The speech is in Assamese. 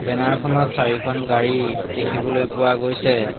বেনাৰ খনত চাৰিখন গাড়ী দেখিবলৈ পোৱা গৈছে।